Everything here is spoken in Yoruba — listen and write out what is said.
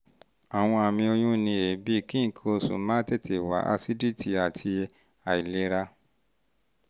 àwọn àmì oyún ni èébì kí nǹkan oṣù má tètè wá asídítì àti àìlera